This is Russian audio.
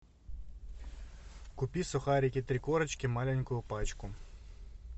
купи сухарики три корочки маленькую пачку